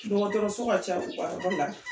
Dɔgɔtɔrɔso ka ca u ka yɔrɔ la